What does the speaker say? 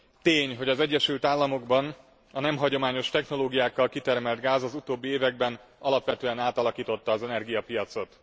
Tény, hogy az Egyesült Államokban a nem hagyományos technológiákkal kitermelt gáz az utóbbi években alapvetően átalakította az energiapiacot.